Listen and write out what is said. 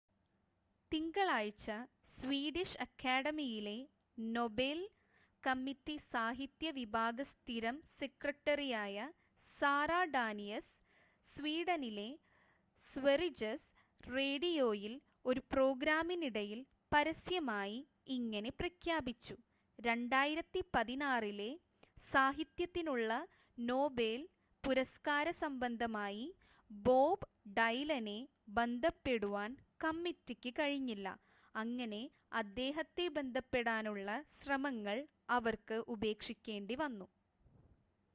തിങ്കളാഴ്ച സ്വീഡിഷ് അക്കാഡമിയിലെ Nobel committee സാഹിത്യ വിഭാഗ സ്ഥിരം സെക്രട്ടറിയായ സാറ ഡാനിയസ്, സ്വീഡനിലെ സ്വറിജസ് റേഡിയോയിൽ ഒരു പ്രോഗ്രാമിനിടയിൽ പരസ്യമായി ഇങ്ങനെ പ്രഖ്യാപിച്ചു,2016 ലെ സാഹിത്യത്തിനുള്ള നോബെൽ പുരസ്ക്കാര സംബന്ധമായി ബോബ് ഡൈലനെ ബന്ധപ്പെടുവാൻ കമ്മിറ്റിക്ക് കഴിഞ്ഞില്ല, അങ്ങനെ അദ്ദേഹത്തെ ബന്ധപ്പെടാനുള്ള ശ്രമങ്ങൾ അവർക്ക് ഉപേക്ഷിക്കേണ്ടിവന്നു